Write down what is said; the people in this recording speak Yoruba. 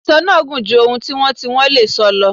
Ìsọ náà gùn ju ohun tí wọ́n tí wọ́n lè sọ lọ.